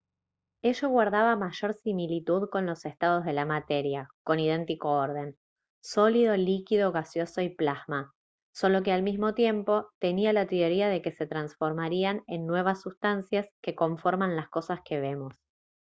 ello guardaba mayor similitud con los estados de la materia con idéntico orden: sólido líquido gaseoso y plasma solo que al mismo tiempo tenía la teoría de que se transforman en nuevas sustancias que conforman las cosas que vemos